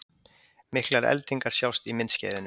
Miklar eldingar sjást í myndskeiðinu